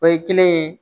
O ye kelen ye